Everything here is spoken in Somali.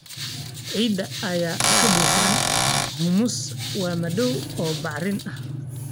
Ciidda ay ka buuxaan humus waa madow oo bacrin ah.